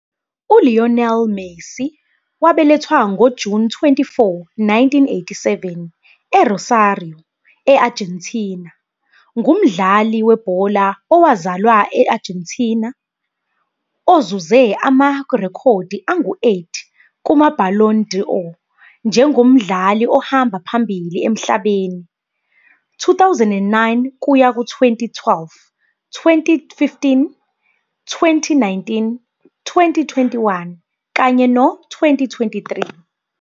ULionel Messi, "wabelethwa ngoJuni 24, 1987, eRosario, e-Argentina", ngumdlali webhola owazalelwa e-Argentina ozuze amarekhodi angu-8 kumaBallon d'Or njengomdlali ohamba phambili emhlabeni, 2009-2012, 2015, 2019, 2021, kanye no-2023.